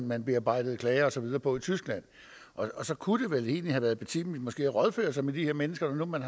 man bearbejdede klager og så videre på i tyskland og så kunne det vel egentlig have været betimeligt måske at rådføre sig med de her mennesker når nu man